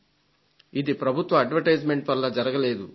ఇది ప్రభుత్వ ప్రకటనల వల్ల జరగలేదు